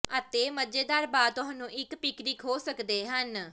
ਅਤੇ ਮਜ਼ੇਦਾਰ ਬਾਅਦ ਤੁਹਾਨੂੰ ਇੱਕ ਪਿਕਨਿਕ ਹੋ ਸਕਦੇ ਹਨ